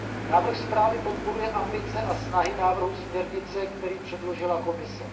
Návrh zprávy podporuje ambice a snahy návrhu směrnice, který předložila Komise.